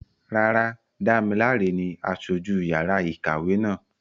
Rárá, Damilare ni aṣojú yàrá ìkàwé náà.